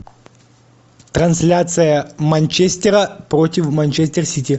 трансляция манчестера против манчестер сити